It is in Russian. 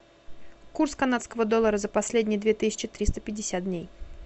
курс канадского доллара за последние две тысячи триста пятьдесят дней